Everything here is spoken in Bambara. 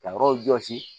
Ka yɔrɔ jɔsi